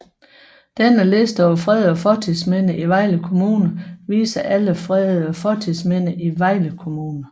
Denne liste over fredede fortidsminder i Vejle Kommune viser alle fredede fortidsminder i Vejle Kommune